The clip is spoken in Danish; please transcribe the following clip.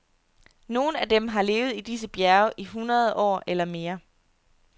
Nogle af dem har levet i disse bjerge i hundrede år eller mere.